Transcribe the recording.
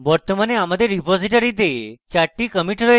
বর্তমানে আমাদের রীপোসিটরীতে চারটি commits রয়েছে